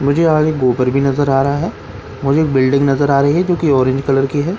मुझे आगे गोबर भी नजर आ रहा है मुझे बिल्डिंग नजर आ रही है जो ऑरेंज कलर की है।